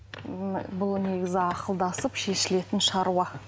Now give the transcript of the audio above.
м бұл негізі ақылдасып шешілетін шаруа